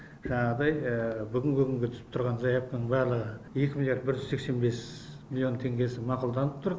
жаңағыдай бүгінгі күнге түсіп тұрған заявканың барлығы екі миллиард бір жүз сексен бес миллион теңгесі мақұлданып тұр